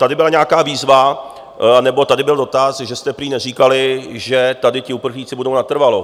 Tady byla nějaká výzva, nebo tady byl dotaz, že jste prý neříkali, že tady ti uprchlíci budou natrvalo.